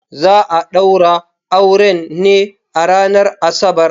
Za a daura auren ne a ranar Asabar.